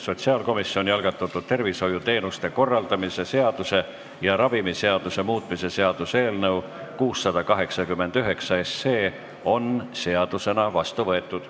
Sotsiaalkomisjoni algatatud tervishoiuteenuste korraldamise seaduse ja ravimiseaduse muutmise seaduse eelnõu 689 on seadusena vastu võetud.